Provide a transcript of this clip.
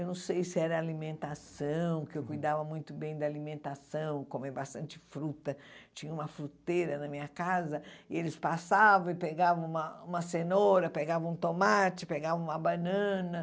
Eu não sei se era alimentação, que eu cuidava muito bem da alimentação, comia bastante fruta, tinha uma fruteira na minha casa, e eles passavam e pegavam uma uma cenoura, pegavam um tomate, pegavam uma banana.